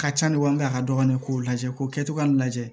Ka ca ni walima a ka dɔgɔn k'o lajɛ k'o kɛcogoya in lajɛ